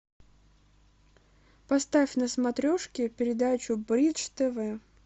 поставь на смотрешке передачу бридж тв